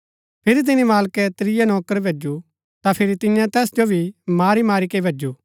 फिरी तिनी मालकै त्रिया नौकर भैजु ता फिरी तियें तैस जो भी मारी मारी के भैजु